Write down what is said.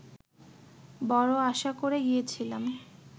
বড় আশা করে গিয়েছিলাম